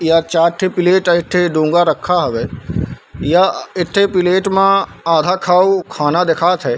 यह चार ठे प्लेट एक ठि रखा हवे यह एक ठे प्लेट मा आधा खाऊ खाना दिखात हे।